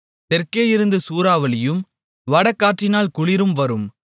தெற்கேயிருந்து சூறாவளியும் வடகாற்றினால் குளிரும் வரும்